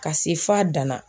Ka se f'a dan na